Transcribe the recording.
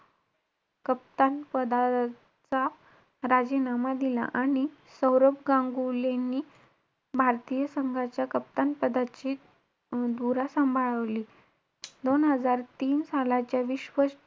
कप्तान पदाचा राजीनामा दिला. आणि सौरभ गांगुलीनी भारतीय संघाचा कप्तानपदाची अं धुरा सांभाळवली. दोन हजार तीन सालाच्या विश्व,